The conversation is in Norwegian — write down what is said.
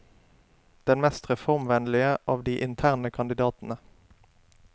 Den mest reformvennlige av de interne kandidatene.